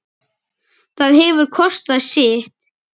Það hefur kostað sitt.